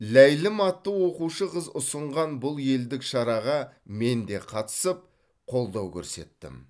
ләйлім атты оқушы қыз ұсынған бұл елдік шараға мен де қатысып қолдау көрсеттім